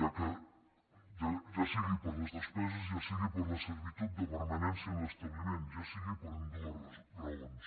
ja sigui per les despeses ja sigui per la servitud de permanència a l’establiment ja sigui per ambdues raons